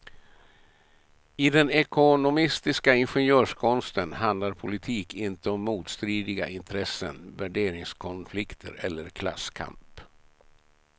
I den ekonomistiska ingenjörskonsten handlar politik inte om motstridiga intressen, värderingskonflikter eller klasskamp.